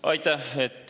Aitäh!